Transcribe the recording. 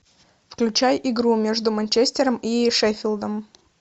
включай игру между манчестером и шеффилдом